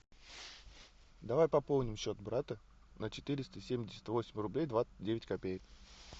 давай пополним счет брата на четыреста семьдесят восемь рублей двадцать девять копеек